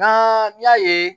N'an y'a ye